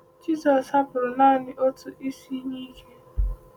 Jisọs hapụrụ naanị otu Isi iyi ike